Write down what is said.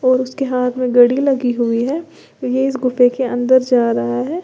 और उसके हाथ में घड़ी लगी हुई है ये इस गुफे के अंदर जा रहा है।